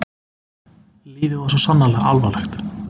Lífið var svo sannarlega alvarlegt.